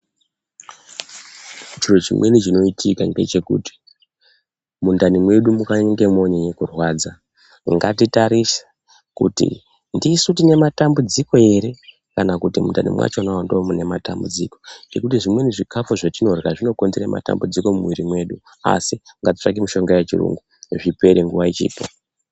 Chiro chimweni chinoitika mgechekuti kana mundani mwedu mweinyanya kurwadza ngatitarise kuti ndisu tine matambudziko ere kana kuti mundani mwakhona ndimwo mune matambudziko. Zvimweni zvikafu zbatinorya zvinokonzera matambudziko mumwiri mwedu asi mgatitsvakei mishonga yechiyungu zvipere nguwa ichiripo.